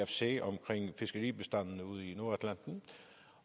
sagen omkring fiskebestanden ude i nordatlanten